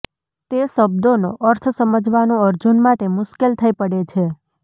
તે શબ્દોનો અર્થ સમજવાનું અર્જુન માટે મુશ્કેલ થઈ પડે છે